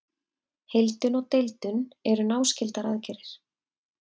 Heildun og deildun eru náskyldar aðgerðir.